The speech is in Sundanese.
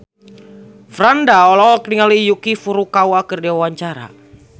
Franda olohok ningali Yuki Furukawa keur diwawancara